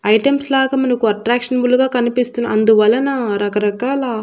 Items లాగా మనకు attractionable గా కనిపిస్తున్న అందువలన రకరకాల.